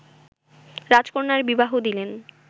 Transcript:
রাজকন্যার বিবাহ দিলেন